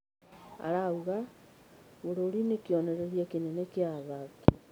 Araiga, "Bũrũri nĩ kĩonereria kĩnene kĩa athaki".